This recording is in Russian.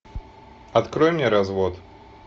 открой мне развод